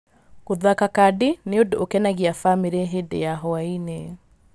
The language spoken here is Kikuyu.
Gũthaka kadi nĩ ũndũ ũkenagia bamĩrĩ hĩndĩ ya hwaiinĩ.